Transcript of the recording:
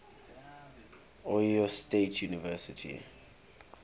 ohio state university